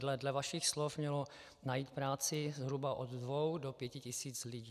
Dle vašich slov mělo najít práci zhruba od dvou do pěti tisíc lidí.